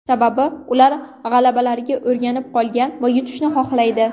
Sababi ular g‘alabalarga o‘rganib qolgan va yutishni xohlaydi.